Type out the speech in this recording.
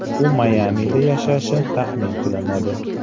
U Mayamida yashashi taxmin qilinadi.